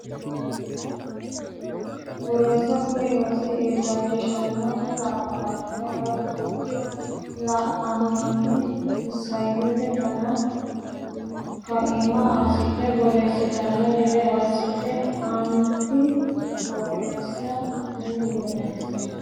Borreessa Kuni rosi illachishannohu nabbabbanno woy guulcho la annohunni isayyote dana kaima assidhe borreessitanno gede assate aanaati Borreessa Kuni Borreessa.